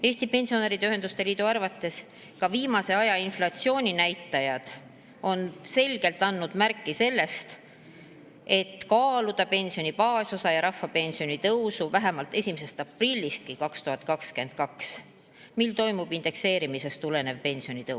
Eesti Pensionäride Ühenduste Liidu arvates on ka viimase aja inflatsiooninäitajad selgelt andnud märku sellest, et on vaja kaaluda pensioni baasosa ja rahvapensioni tõusu vähemalt 1. aprillist 2022, mil toimub indekseerimisest tulenev pensionitõus.